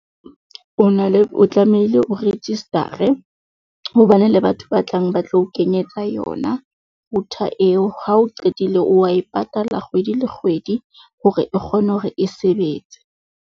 O na le o tlamehile o register-e, hobane le batho ba tlang ba tla o kenyetsa yona, router eo ha o qetile o wa e patala kgwedi le kgwedi, hore e kgone hore e sebetse.